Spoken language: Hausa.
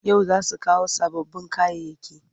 Yau za su kawo sababbin kayayyaki.